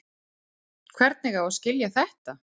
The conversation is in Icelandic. Hvernig á að skilja þetta?